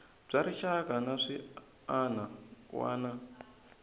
bya rixaka na swiana wana